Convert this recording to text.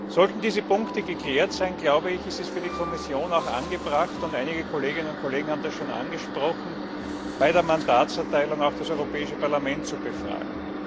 Sollten diese Punkte geklärt sein, ist es für die Kommission angebracht einige Kolleginnen und Kollegen haben das schon angesprochen bei der Mandatserteilung auch das Europäische Parlament zu befragen.